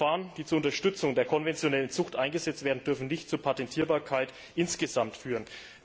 Technische Verfahren, die zur Unterstützung der konventionellen Zucht eingesetzt werden, dürfen nicht zur Patentierbarkeit insgesamt führen.